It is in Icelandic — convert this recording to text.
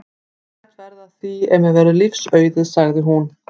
Ég læt verða af því ef mér verður lífs auðið sagði hún.